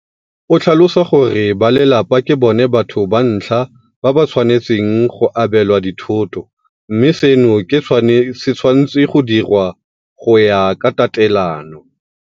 O tlhalosa gore ba lelapa ke bona batho ba ntlha ba ba tshwanetseng go abelwa dithoto mme seno se tshwanetswe go diriwa go ya ka tatelano.